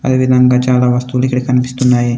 అదే విధంగా చాలా వస్తువులు ఇక్కడ కనిపిస్తున్నాయి.